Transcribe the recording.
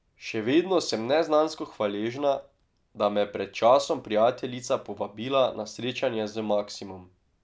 Še vedno sem neznansko hvaležna, da me je pred časom prijateljica povabila na srečanje z Maksimom.